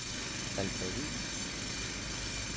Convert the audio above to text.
Alfred Hviid